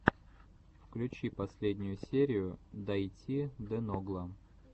включи последнюю серию дайти де ногла